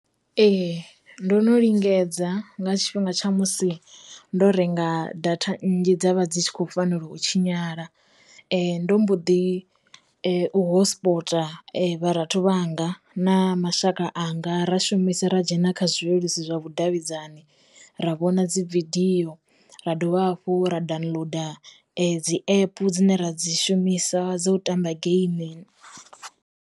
Ee, ndo no lingedza nga tshifhinga tsha musi ndo renga data nnzhi dza vha dzi tshi khou fanela u tshinyala, ndo mbo ḓi hotspota vha rathu vhanga na mashaka anga ra shumisi ra dzhena kha zwileludzi zwa vhudavhidzani, ra vhona dzividiyo, ra dovha hafhu ra downloader dzi app dzine ra dzi shumisa dza u tamba geimi.